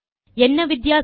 என்ன வித்தியாசம்